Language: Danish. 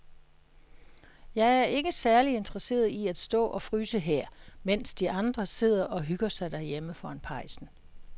Jeg er ikke særlig interesseret i at stå og fryse her, mens de andre sidder og hygger sig derhjemme foran pejsen.